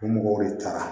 Mɔgɔw de taara